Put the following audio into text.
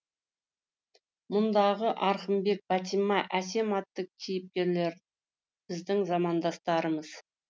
мұндағы арғынбек бәтима әсем атты кейіпкерлер біздің замандастарымыз